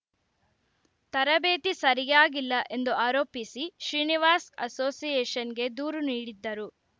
ತರಬೇತಿ ಸರಿಯಾಗಿಲ್ಲ ಎಂದು ಆರೋಪಿಸಿ ಶ್ರೀನಿವಾಸ್‌ ಅಸೋಸಿಯೇಷನ್‌ಗೆ ದೂರು ನೀಡಿದ್ದರು